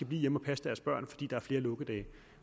blive hjemme og passe deres børn fordi der er flere lukkedage